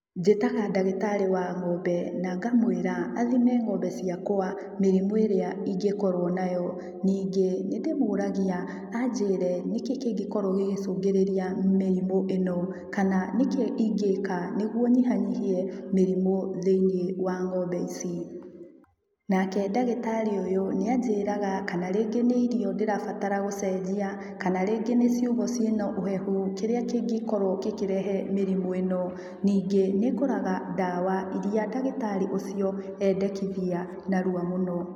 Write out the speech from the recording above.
Njĩtaga ndagĩtarĩ wa ng'ombe na ngamũĩra athime ng'ombe ciakwa mĩrimũ ĩrĩa ingĩkorwo nayo. Ningĩ nĩndĩmũragia anjĩre nĩkĩ kĩngĩkorwo gĩgĩcũngĩrĩria mĩrimũ ĩno kana nĩkĩ ingĩka nĩguo nyihanyihie mĩrimũ thĩinĩ wa ng'ombe ici. Nake ndagĩtarĩ ũyũ nĩanjĩraga kana rĩngĩ nĩ irio ndĩrabatara gũcenjia, kana rĩngĩ nĩ ciugũ ciĩna ũhehu, kĩrĩa kĩngĩkorwo gĩkĩrehe mĩrimũ ĩno, ningĩ nĩngũraga ndawa iri ndagĩtarĩ ũcio endekithia narua mũno.